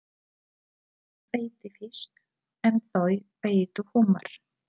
Hann veiddi fisk en þau veiddu humar.